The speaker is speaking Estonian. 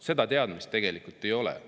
Seda teadmist tegelikult ei ole.